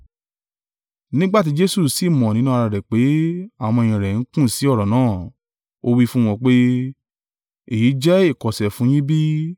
Nígbà tí Jesu sì mọ̀ nínú ara rẹ̀ pé àwọn ọmọ-ẹ̀yìn rẹ̀ ń kùn sí ọ̀rọ̀ náà, ó wí fún wọn pé, “Èyí jẹ́ ìkọ̀sẹ̀ fún yín bí?